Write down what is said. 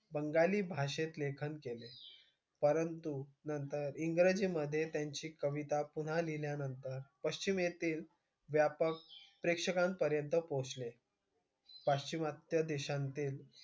बंगाली भाषेत लेखन केले. परंतु नंतर इंग्रजीमधे त्यांची कविता पुन्हा लिहिल्यानंतर पश्चिमेतील व्यापक प्रेक्षकांपर्यंत पोहोचले. पाश्चिमात्य देशांतील,